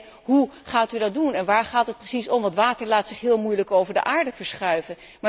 Alleen, hoe gaat u dat doen en waar gaat het precies om, want water laat zich heel moeilijk over de aarde verschuiven.